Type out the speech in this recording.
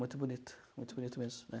Muito bonito, muito bonito mesmo, né.